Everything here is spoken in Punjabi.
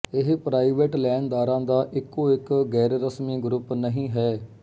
ਇਹ ਪ੍ਰਾਈਵੇਟ ਲੈਣਦਾਰਾਂ ਦਾ ਇੱਕੋ ਇੱਕ ਗੈਰਰਸਮੀ ਗਰੁੱਪ ਨਹੀਂ ਹੈ